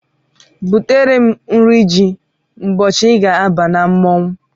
Butere m nri ji ụbọchị I ga-aba na mmọnwụ!